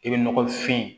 I bɛ nɔgɔfin